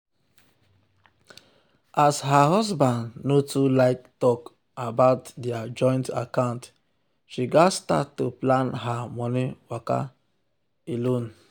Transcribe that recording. as um her husband no too like talk about their joint account she gats start to plan her um money waka um alone.